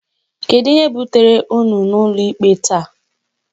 Kedu ihe butere unu n'ụlọikpe taa?